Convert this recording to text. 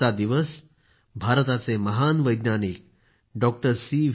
आजचा दिवस भारताचे महान वैज्ञानिक डॉक्टर सी